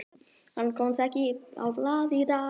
Hann komst ekki á blað í dag.